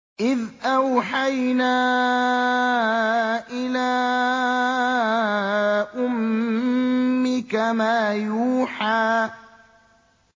إِذْ أَوْحَيْنَا إِلَىٰ أُمِّكَ مَا يُوحَىٰ